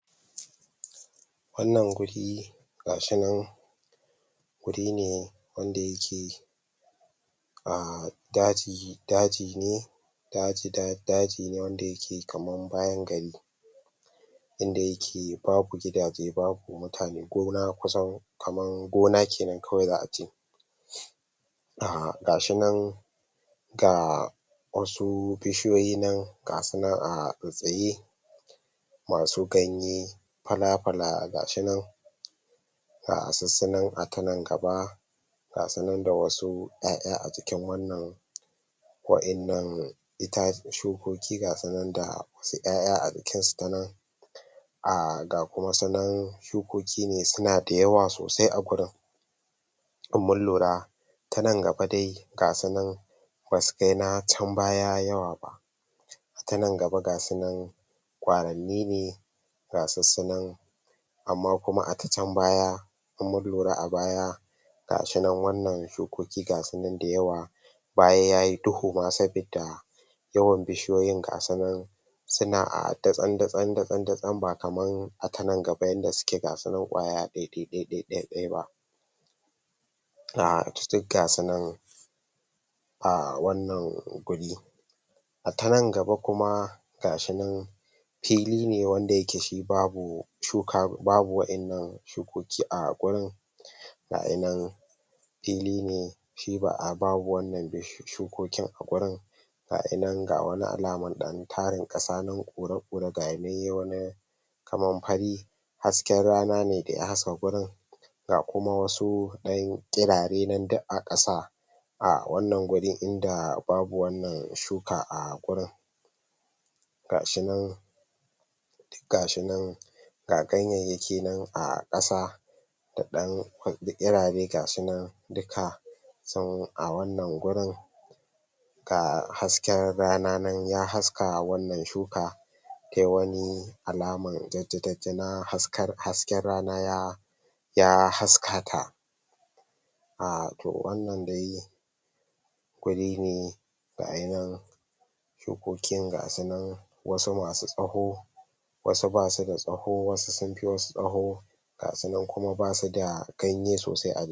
Wannan guri ga shi nan wuri ne wanda yake ahh daji, daji ne daj daji ne wanda yake kaman bayan gari inda yake babu gidaje, babu mutane, gona kusa, gona ke nan kawai za a ce ah. Ga shi nan ga wasu bishiyoyi nan, ga su nan a tsattsaye, masu ganye fala-fala, ga shi nan ga sussu nan a ta nan gaba, ga su nan da wasu ƴaƴa a cikin wannan wa'innan shukoki ga su nan da wasu ƴaƴa a jikinsu ta nan ah. Ga kuma su nan shukoki ne suna da yawa sosai a gurin. In mun lura, ta nan gaba dai ga su nan ba su kai na can baya yawa ba, ta nan gaba ga su nan ƙwaranni ne ga sussu nan amma kuma a ta can baya in mun lura a baya ga shi nan wannan shukoki ga su nan da yawa bayan ya yi duhu ma sabida yawan bishiyoyin ga su nan suna ah datsan-datsan-datsan ba kamar a ta nan gaba yanda suke ga su nan ƙwaya ɗai-ɗai-ɗai ba ah. Duk ga su nan ah wannan guri. A ta nan gaba kuma ga shi nan fili ne wanda yake shi babu babu wainnan shukoki a gurin, ga hi nan fili ne shi ba a babu wannan shukokin a gurin Ga shi nan ga wani alaman ɗan tarin ƙasa nan ƙura-ƙura, ga hi nan ya yi wani kamar fari hasken rana ne da ya haske gurin ga kuma wasu ɗan ƙirare nan duk a ƙasa a wannan guri inda babu wannan shuka a gurin. Ga shi nan duk ga shi nan ga ganyayyaki nan a ƙasa da ɗan ƙirare ga shi nan duka kusan a wannan gurin, ga hasken rana nan ya haska wannan shuka ta yi wani alaman jajjaja na hasken rana ya haska ta ah to wannan dai guri ne ga hi nan shukokin ga su nan wasu masu tsaho, wasu ba su da tsaho, wasu sun fi wasu tsaho. Ga su nan kuma ba su da ganye sosai.